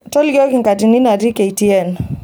tolikoiki nkatini natii k. t.n